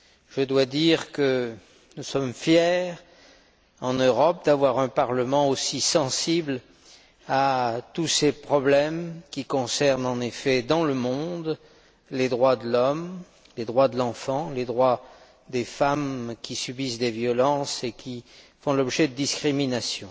Je dois dire que nous sommes fiers en Europe d'avoir un Parlement aussi sensible à tous ces problèmes qui concernent en effet, dans le monde, les droits de l'homme, les droits de l'enfant, les droits des femmes qui subissent des violences et qui font l'objet de discriminations.